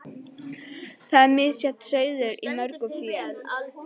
Og þar er misjafn sauður í mörgu fé.